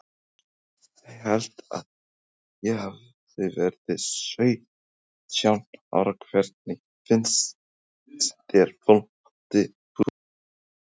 Ég held að ég hafi verið sautján ára Hvernig finnst þér Fótbolti.net?